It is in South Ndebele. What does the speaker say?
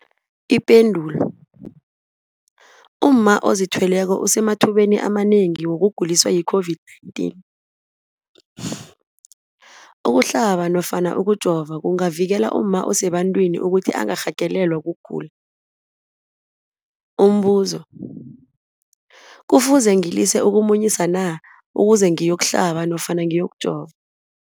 Ipendulo, umma ozithweleko usemathubeni amanengi wokuguliswa yi-COVID-19. Ukuhlaba nofana ukujova kungavikela umma osebantwini ukuthi angarhagalelwa kugula. Umbuzo, kufuze ngilise ukumunyisa na ukuze ngiyokuhlaba nofana ngiyokujova?